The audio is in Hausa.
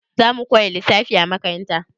Za mu koya lissafi a makaranta?